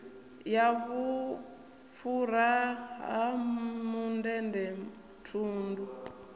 ya vhufhura ha mundende thundu